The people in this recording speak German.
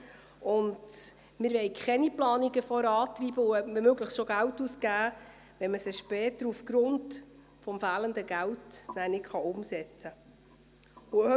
Wir wollen keine Planungen vorantreiben und womöglich bereits Geld ausgeben, wenn man sie später aufgrund fehlenden Geldes nicht umsetzen kann.